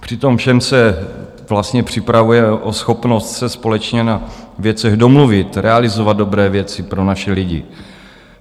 Při tom všem se vlastně připravujeme o schopnost se společně na věcech domluvit, realizovat dobré věci pro naše lidi.